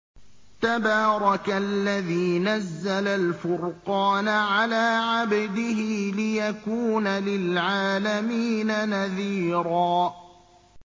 تَبَارَكَ الَّذِي نَزَّلَ الْفُرْقَانَ عَلَىٰ عَبْدِهِ لِيَكُونَ لِلْعَالَمِينَ نَذِيرًا